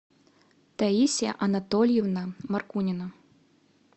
таисия анатольевна маркунина